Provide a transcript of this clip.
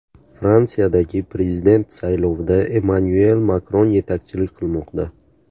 Fransiyadagi prezident saylovida Emmanyuel Makron yetakchilik qilmoqda.